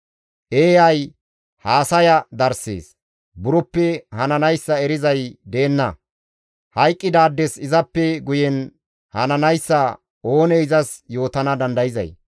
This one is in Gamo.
Eeyay haasaya darssees; buroppe hananayssa erizay deenna; hayqqidaades izappe guyen hananayssa oonee izas yootana dandayzay?